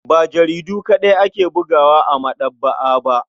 Ba jaridu kaɗai ake bugawa a maɗaba'a ba.